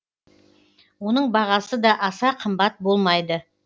оның бағасы да аса қымбат болмайды